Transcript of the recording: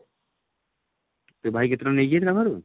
ତୋ ଭାଇ କେତେ ଟଙ୍କା ନେଇଛି ତୋ ଠାରୁ?